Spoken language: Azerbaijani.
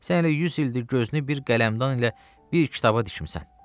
Sən elə 100 ildir gözünü bir qələmdan ilə bir kitaba dikmisən.